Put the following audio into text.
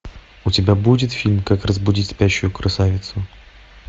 у тебя будет фильм как разбудить спящую красавицу